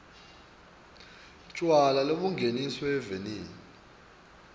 tjwala lobungeniswe eveni